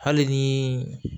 Hali ni